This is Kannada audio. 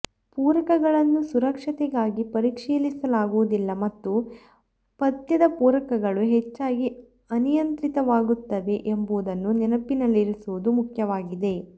ಪೂರಕಗಳನ್ನು ಸುರಕ್ಷತೆಗಾಗಿ ಪರೀಕ್ಷಿಸಲಾಗುವುದಿಲ್ಲ ಮತ್ತು ಪಥ್ಯದ ಪೂರಕಗಳು ಹೆಚ್ಚಾಗಿ ಅನಿಯಂತ್ರಿತವಾಗುತ್ತವೆ ಎಂಬುದನ್ನು ನೆನಪಿನಲ್ಲಿರಿಸುವುದು ಮುಖ್ಯವಾಗಿದೆ